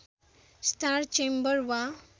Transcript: star chamber वा